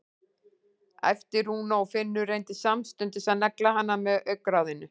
æpti Rúna og Finnur reyndi samstundis að negla hana með augnaráðinu.